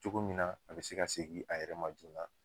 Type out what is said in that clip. Cogo min na a bi se ka segin a yɛrɛ ma joona